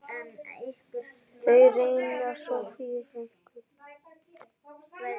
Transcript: Þeir ræna Soffíu frænku.